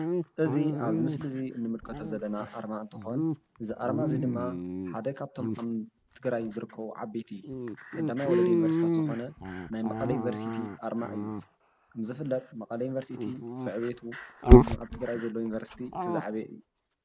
እዚ ኣብዚ ምስሊ እዚ ንምልከቶ ዘለና ኣርማ እንትኾን እዚ ኣርማ እዚ ድማ ሓደ ካብቶም ኣብ ትግራይ ዝርከቡ ዓበይቲ ቀዳማይ ወለዶ ዩኒቨርሲቲታት ዝኾነ ናይ መቐለ ዩኒቨርሲቲ ኣርማ እዩ፡፡ ከምዝፍለጥ መቐለ ዩኒቨርሲቲ ብዕብየቱ ካብቶም ኣብ ትግራይ ዘለዉ ዩኒቨርሲቲ እቲ ዝዓበየ እዩ፡፡